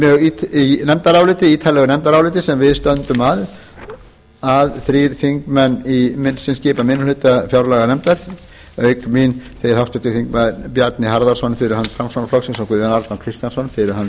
mjög langt í ítarlegu nefndaráliti sem við stöndum að þrír þingmenn sem skipum minni hluta fjárlaganefndar auk mín háttvirtir þingmenn bjarni harðarson fyrir hönd framsóknarflokksins og guðjón arnar kristjánsson